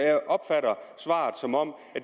jeg opfatter svaret som om